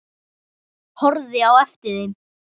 Horfði á eftir þeim.